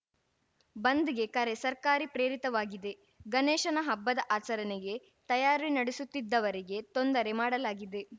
ಬಂದ್‌ಗೆ ಕರೆ ಸರ್ಕಾರಿ ಪ್ರೇರಿತವಾಗಿದೆ ಗಣೇಶನ ಹಬ್ಬದ ಆಚರಣೆಗೆ ತಯಾರಿ ನಡೆಸುತ್ತಿದ್ದವರಿಗೆ ತೊಂದರೆ ಮಾಡಲಾಗಿದೆ